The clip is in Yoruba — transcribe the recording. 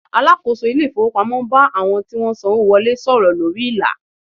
Alakoso ile ifowopamo n ba awon ti won n sanwo wole soro lori ila